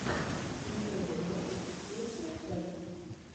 никелодеон лучшая часть